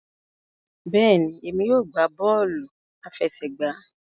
Bẹẹni, èmi yóò gbà bọọ̀lu afẹ̀sẹ̀gba.